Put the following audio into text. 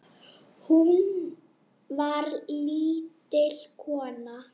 Hún var lítil kona.